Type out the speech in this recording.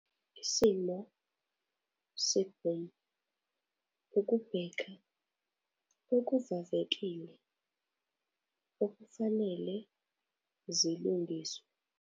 Isimo se-boom, ukubheka okuvavekile okufanele zilungiswe.